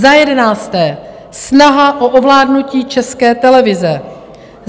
Za jedenácté, snaha o ovládnutí České televize.